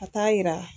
Ka taa yira